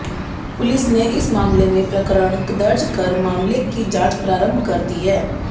police ने इस मामले में प्रकरण दर्ज कर मामले की जांच प्रारंभ कर दी है